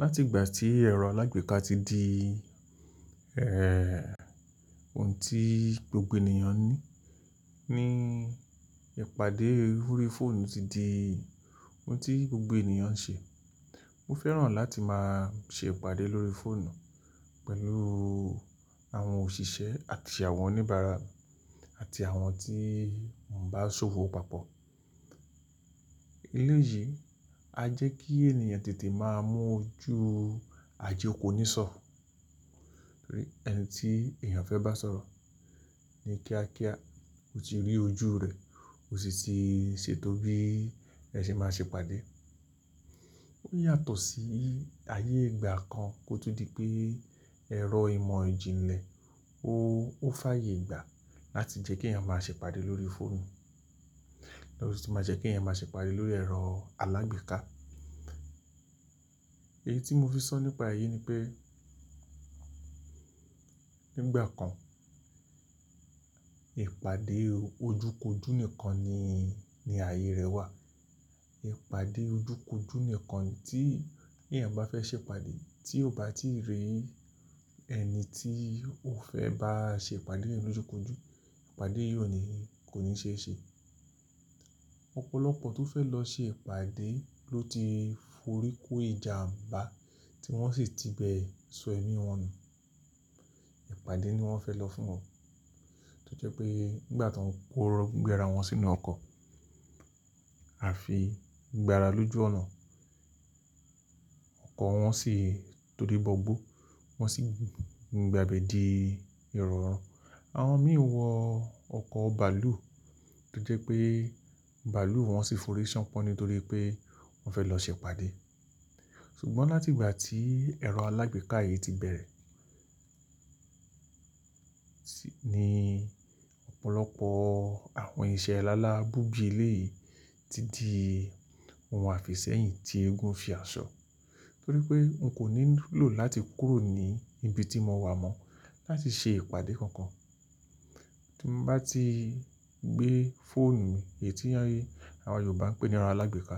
Láti ìgbà tí ẹ̀rọ alágbèéká ti di, eh, ohun tí gbogbo ènìyàn ní, ní ìpàdé lórí fóònù ti di ohun tí gbogbo ènìyàn ń ṣe. Mo fẹ́ràn láti máa ṣe ìpàdé lórí fóònù pẹ̀lú àwọn òṣìṣẹ́ àti àwọn oníbàárà àti àwọn tí mò ń bá ṣòwò papọ̀. Ilé yìí á jẹ́ kí ènìyàn tètè máa mú ojú àje ko ní sọ̀, torí ẹni tí èèyàn fẹ́ bá sọ̀rọ̀ ní kíákíá, ó ti rí ojú rẹ̀ ó sì ti ṣètò bí ẹ ṣe máa ṣe ìpàdé. Ó yàtọ̀ sí ayé ìgbà kan tó di pé ẹ̀rọ ìmò ìjìnlẹ̀ ó fàyè gbà láti jẹ́ kí èèyàn máa ṣe ìpàdé lórí fóònù, ló ti máa jẹ́ kí ẹ̀yàn máa ṣe ìpàdé lórí ẹ̀rọ alágbèéká. Èyí tí mo fi sọ nípa èyí ni pé nígbà kan, ìpàdé ojúkoju nìkan ni, ni ààyè rẹ̀ wà. Ìpàdé ojúkoju nìkan tí èèyàn bá fẹ́ ṣe ìpàdé tí ó bá ti rí ẹni tí ó fẹ́ bá ṣe ìpàdé yẹn lójúkoju, ìpàdé yóò ní kò ní ṣe ṣẹ. Ọ̀pọ̀lọpọ̀ tó fẹ́ lọ ṣe ìpàdé ló ti forí kó ìjàǹbá tí wọ́n sì ti bẹ sọ ẹ̀mí wọn nù. Ìpàdé ni wọ́n fẹ́ lọ fún wọn. Tí ó jẹ́ pé nígbà tó ń kó gbẹ́ra wọn sínú ọkọ̀ àfi gbẹ́ra lójú ọ̀nà, ọkọ̀ wọn sì tó dé gbọ́gbọ́, wọ́n sì gbin gbàgbé di ero ọ̀rọ̀rùn. Àwọn mí wọ ọkọ̀ bàálù tó jẹ́ pé bàálù wọn sì forí ṣánpọ́n nítorí pé wọ́n fẹ́ lọ ṣe ìpàdé. Ṣùgbọ́n láti ìgbà tí ẹ̀rọ alágbèéká yìí ti bẹ̀rẹ̀, sì ni ọ̀pọ̀lọpọ̀ àwọn ìṣe alálá búbí ilé yìí ti di ohun àfìsẹ́yìn tí eégún fi àṣọ. Torí pé n kò ní lò láti kúrò ní ibi tí mo wà mọ́ láti ṣe ìpàdé kankan. Tí mo bá ti gbé fóònù mi, èyí tí yín, àwọn Yorùbá ń pè ní ẹrọ alágbèéká,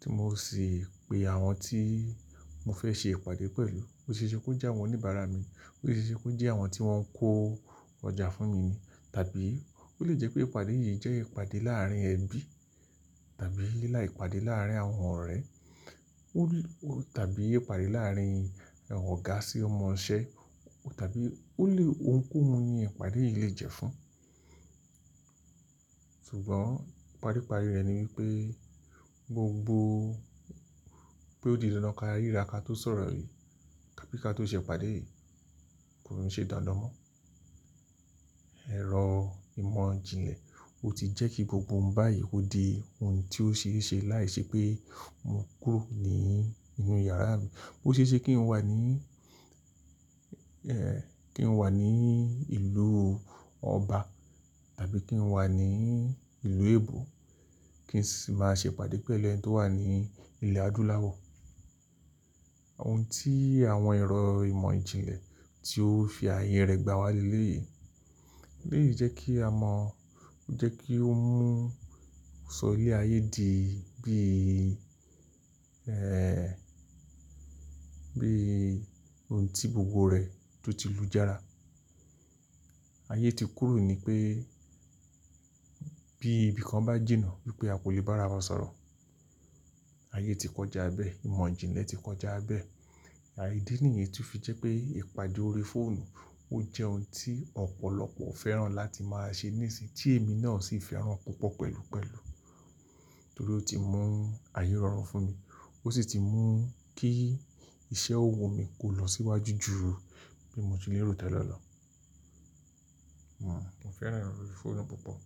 tí mo sì pe àwọn tí mo fẹ́ ṣe ìpàdé pẹ̀lú. Ó ṣe é ṣe kó jẹ́ àwọn oníbàárà mi, ó ṣe é ṣe kó jẹ́ àwọn tí wọ́n ń kó ọjà fún mi ni. Tàbí ó lè jẹ́ pé ìpàdé yìí jẹ́ ìpàdé láàrin ẹbí tàbí lá ìpàdé láàrin àwọn ọ̀rẹ́. Ó lè tàbí ìpàdé láàrin ọ̀gá sí ọmọṣẹ́ tàbí ó lè ohunkóhun ni ìpàdé yìí lè jẹ́ fún. Ṣùgbọ́n ìparíparí rẹ̀ ni wípé gbogbo pé ó di inú karí ra kátó sọ̀rọ̀ yìí, ká bí i ká tó ṣe ìpàdé yìí kò rún ṣe dandan mọ́. Ẹ̀rọ ìmọ̀ ìjìnlẹ̀, ó ti jẹ́ kí gbogbo báyìí ó di ohun tí ó ṣe é ṣe láìṣẹ́ pé mo kúrò nínú yàrá mi. Ó ṣe é ṣe kí n wà ní, eh, kí n wà ní ìlú ọba tàbí kí n wà ní ìlú Èbó kí n sì máa ṣe ìpàdé pẹ̀lú ẹni tó wà ní ilẹ̀ Adúláwọ̀. Ohun tí àwọn ẹ̀rọ ìmọ̀ ìjìnlẹ̀ tí ó fi ààyè rẹ̀ gbá wá lé elé yìí jẹ́ kí a mọ̀, ó jẹ́ kí ó mú sọ ilé ayé di bí, eh, bí ohun tí gbogbo rẹ̀ tó ti lújára. Ayé ti kúrò ní pé bí ibi kan bá jìnà wípé a kò lè bá ara wa sọ̀rọ̀. Ayé ti kọjá bẹ́ẹ̀, ìmọ̀ ìjìnlẹ̀ ti kọjá bẹ́ẹ̀. Àìdí nìyẹn tí ó fi jẹ́ pé ìpàdé lórí fóònù ó jẹ́ ohun tí ọ̀pọ̀lọpọ̀ fẹ́ràn láti máa ṣe níìsín, tí èmi náà sì fi hàn púpọ̀ pẹ̀lúpẹ̀lú. Torí ó ti mú ààyè rọrùn fún mi, ó sì ti mú kí iṣẹ́ òwò mi kó lọ síwájú ju bí mo ti lérò tán lọ lọ. Hmm, mo fẹ́ràn ìròrí fóònù púpọ̀.